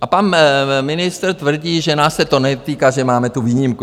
A pan ministr tvrdí, že nás se to netýká, že máme tu výjimku.